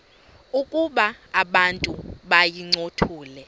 ukuba abantu bayincothule